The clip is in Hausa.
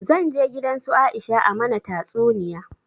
Zan je gidan su Aisha a mana tatsuniya